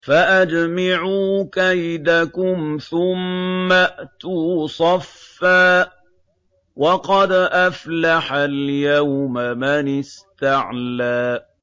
فَأَجْمِعُوا كَيْدَكُمْ ثُمَّ ائْتُوا صَفًّا ۚ وَقَدْ أَفْلَحَ الْيَوْمَ مَنِ اسْتَعْلَىٰ